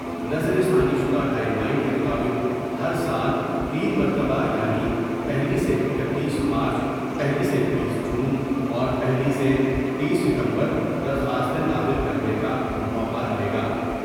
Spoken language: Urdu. نظر ثانی شدہ ٹائم لائن کے مطابق ہر سال تین مرتبہ یعنی پہلی سے اکتیس مارچ ، پہلی سے تیس جون ، اور پہلی سے تیس ستمبر درخواستیں داخل کر نے کا موقع رہے گا ۔